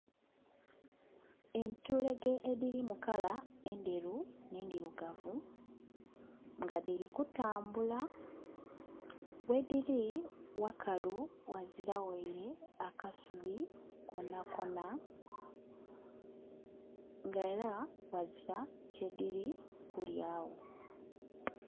Entulege dhiri mu kala endheru n'endhirugavu nga dhiri kutambula ghedhiri wakalu ghazira waire kasubi konakona nga era ghazira kye dhiri kulya gho.